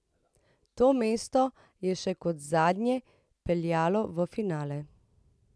To mesto je še kot zadnje peljalo v finale.